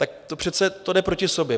Tak to přece jde proti sobě.